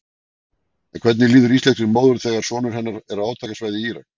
En hvernig líður íslenskri móður þegar sonur hennar er á átakasvæði í Írak?